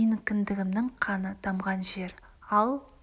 менің кіндігімнің қаны тамған жер ал